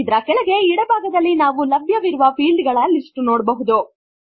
ಇದರ ಕೆಳಗೆ ಎಡ ಭಾಗದಲ್ಲಿ ನಾವು ಲಭ್ಯವಿರುವ ಫೀಲ್ಡ್ ಗಳ ಲಿಸ್ಟ್ ನೋಡಬಹುದು